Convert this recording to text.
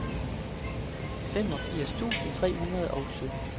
femogfirs tusind tre hundrede og sytten